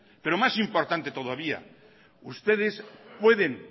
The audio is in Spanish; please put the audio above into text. pero más importante todavía ustedes pueden